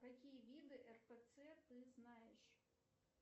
какие виды рпц ты знаешь